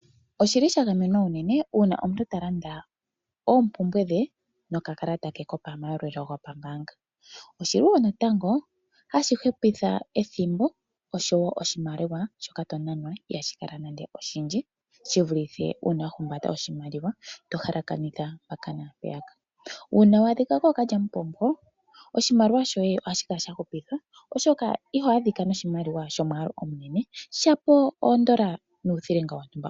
Osha gamenwa unene uuna omuntu ta landa oompumbwe dhe nokakalata ke komayalulo gombaanga. Ohashi hupitha ethimbo noshowo oshimaliwa shoka to nana ihashi kala nando oshindji shi vulithe shi wa humbata oshimaliwa to halakanitha mpaka naampeyaka. Uuna wa adhika kookalyamupombo, oshimaliwa shoye ohashi kala sha gamenwa, oshoka iho adhika noshimaliwa shomwaalu ogundji, shila oodola nuuthilinga wontumba.